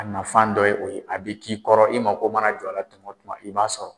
A mafan dɔ ye o ye a bɛ k'i kɔrɔ i ma ko mana jɔ a la tuma o tuma i b'a sɔrɔ.